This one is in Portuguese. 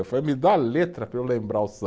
Eu falei, me dá a letra para eu lembrar o